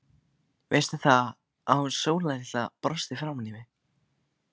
Veistu það, að hún Sóla litla brosti framan í mig.